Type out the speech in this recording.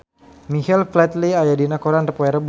Michael Flatley aya dina koran poe Rebo